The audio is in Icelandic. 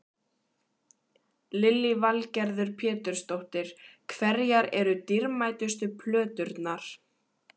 Lillý Valgerður Pétursdóttir: Hverjar eru dýrmætustu plöturnar?